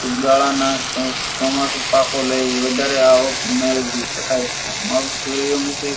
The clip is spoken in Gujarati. ફુગાળાના સ સમસ્થ પાકો લઈ વધારે આવક મેળવી સકાય છે મગ, સૂર્યમુખી ,